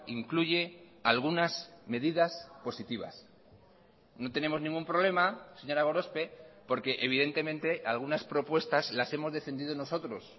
incluye algunas medidas positivas no tenemos ningún problema señora gorospe porque evidentemente algunas propuestas las hemos defendido nosotros